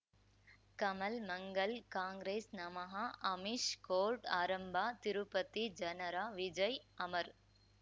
ಕಮಲ್ ಮಂಗಳ್ ಕಾಂಗ್ರೆಸ್ ನಮಃ ಅಮಿಷ್ ಕೋರ್ಟ್ ಆರಂಭ ತಿರುಪತಿ ಜನರ ವಿಜಯ್ ಅಮರ್